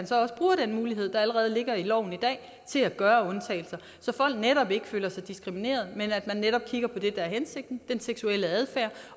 så også bruger den mulighed der allerede ligger i loven i dag til at gøre undtagelser så folk ikke føler sig diskrimineret men at man netop kigger på det der er hensigten den seksuelle adfærd